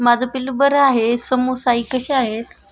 माझं पिल्लू बरं आहे. समुसाई कशा आहे ?